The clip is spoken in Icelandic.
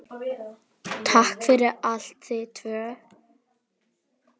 Takk fyrir allt, þið tvö.